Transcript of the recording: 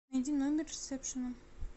найди номер ресепшена